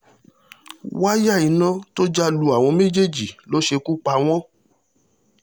wáyà iná tó já lu àwọn méjèèjì ló ṣekú pa wọ́n